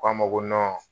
K'a ma ko